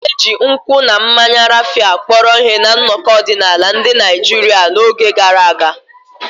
A na-eji nkwụ na mmanya Raphia kpọrọ ihe na nnọkọ ọdịnala ndị Naijiria n'oge gara aga.